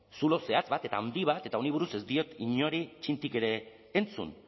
zulo zehatz bat eta handi bat eta honi buruz ez diot inori txintik ere entzun